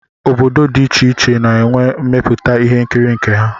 Obodo dị iche iche na-enwe mmepụta ihe nkiri nke ha